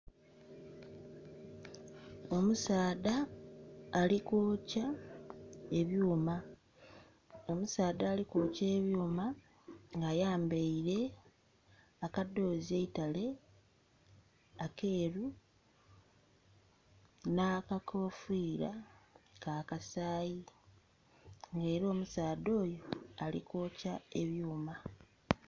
Omusaadha ali kwokya ebyuma, omusaadha ali kwokya ebyuma nga ayambaire akadhoozi eitale akeeru n'akakofiira ka kasayi, nga era omusaadha oyo ali kwokya ebyuma.